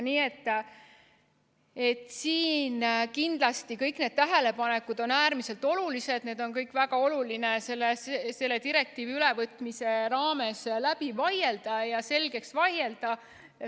Kõik need tähelepanekud on siin kindlasti äärmiselt olulised, väga oluline on need kõik selle direktiivi ülevõtmise raames läbi ja selgeks vaielda.